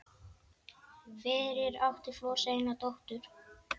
Fyrir átti Flosi eina dóttur